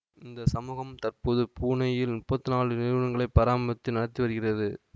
இந்த சமூகம் தற்போது புனேயில் முப்பத்தி நாலு நிறுவனங்களை பராமரித்து நடத்தி வருகிறது